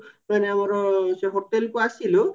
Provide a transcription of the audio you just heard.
ମାନେ ଆମର ସେ hotelକୁ ଆସିଲୁ